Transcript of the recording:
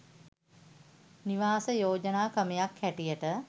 නිවාස යෝජනා ක්‍රමයක් හැටියට